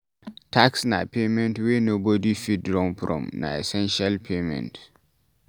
Tax na payment wey nobody fit run from, na essential payment